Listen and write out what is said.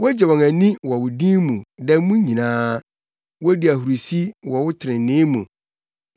Wogye wɔn ani wɔ wo din mu da mu nyinaa; wodi ahurusi wɔ wo trenee mu.